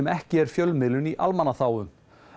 ekki fjölmiðlun í almannaþágu